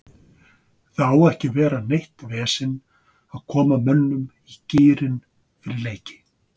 Það á ekki að vera neitt vesen að koma mönnum í gírinn fyrir leiki.